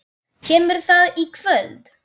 Kemur það í kvöld?